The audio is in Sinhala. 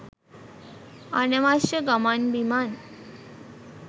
අනවශ්‍ය ගමන් බිමන්